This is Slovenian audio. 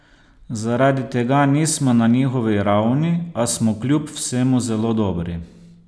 Zaradi tega nismo na njihovi ravni, a smo kljub vsemu zelo dobri.